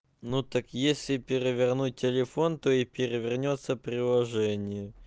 ну так если перевернуть телефон то и перевернётся приложение